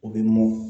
U bɛ mɔn